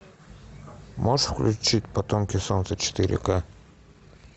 можешь включить потомки солнца четыре ка